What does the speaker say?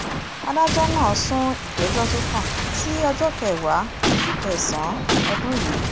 adájọ́ náà sún ìgbẹ́jọ́ tó kàn sí ọjọ́ kẹwàá oṣù kẹsàn-án ọdún yìí